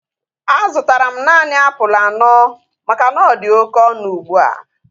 A zụtara m naanị apụl anọ maka na ọdi oké ọnụ ugbua